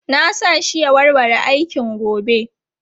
Na sa shi ya warware aikin gobe.